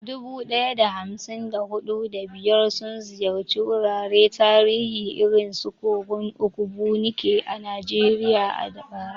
Dubu ɗaya da hamsin da huɗu, da biyar sun ziyarci wuraren tarihi irin su kogon Ogbunike a Najeriya a bara.